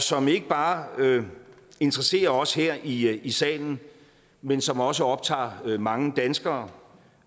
som ikke bare interesserer os her i i salen men som også optager mange danskere